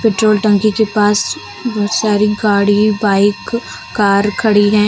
Petrol टंकी के पास बहुत सारी गाड़ी बाइक कार खड़ी हैं।